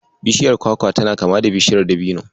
Bishiyar kwakwa tana kama da Bishiyar Dabino.